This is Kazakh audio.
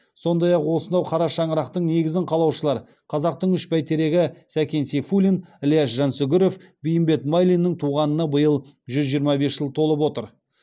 сондай ақ осынау қара шаңырақтың негізін қалаушылар қазақтың үш бәйтерегі сәкен сейфуллин ілияс жансүгіров бейімбет майлиннің туғанына биыл жүз жиырма бес жыл толып отыр